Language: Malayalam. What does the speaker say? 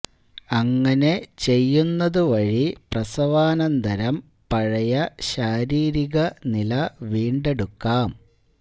അങ്ങനെ ചെയ്യുന്നത് വഴി പ്രസവാനന്തരം പഴയ ശാരീരിക നില വീണ്ടെടുക്കാം